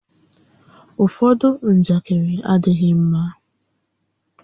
Ụfọdụ njakịrị adịghị ḿmá